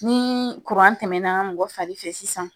Ni tɛmɛna mɔgɔ fari fɛ sisan